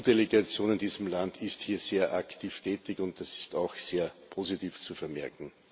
Die EU Delegation in diesem Land ist hier sehr aktiv tätig, und das ist auch sehr positiv zu vermerken.